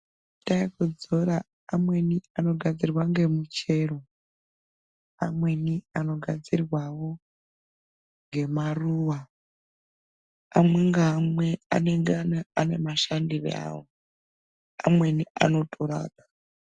Mafuta ekudzora amweni anogadzirwa nemichero amweni anogadzirwawawo nemaruwa umwe nhaumwe anenge ane mashandiro awo amweni anotorapa.